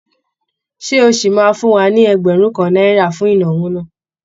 Ṣé o ṣì máa fún wa ní ẹgbẹ̀rún kan náírà fún ìnáwó náà?